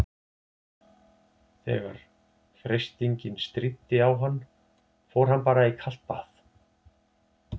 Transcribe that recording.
Þegar freistingin stríddi á hann fór hann bara í kalt bað.